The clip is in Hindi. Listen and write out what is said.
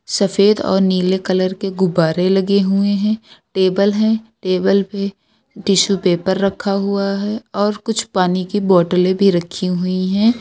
सफेद और नीले कलर के गुब्बारे लगे हुए हैं। टेबल हैं। टेबल पे टिशू पेपर रखा हुआ है और कुछ पानी की बोटलें भी रखी हुई हैं।